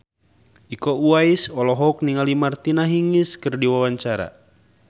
Iko Uwais olohok ningali Martina Hingis keur diwawancara